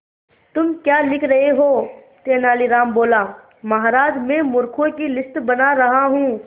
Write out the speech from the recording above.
तुम क्या लिख रहे हो तेनालीराम बोला महाराज में मूर्खों की लिस्ट बना रहा हूं